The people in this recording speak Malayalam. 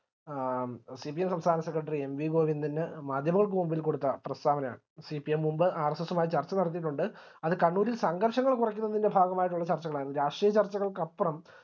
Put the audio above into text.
ആ CPM സംസ്ഥാന സെക്രട്ടറി എൻ വി ഗോവിന്ദന്റെ മാധ്യമങ്ങൾക്ക് മുമ്പിൽ കൊടുത്ത പ്രസ്താവന CPM മുൻപ് RSS മായി ചർച്ച നടത്തിയിട്ടുണ്ട് അത് കണ്ണൂരിൽ സംഘർഷങ്ങൾ കുറക്കുന്നതിൻറെ ഭാഗമായിട്ടുള്ള ചർച്ചകളാണ് രാഷ്ട്രീയ ചർച്ചകൾക്കപ്പുറം